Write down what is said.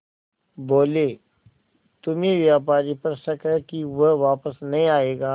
बोले तुम्हें व्यापारी पर शक है कि वह वापस नहीं आएगा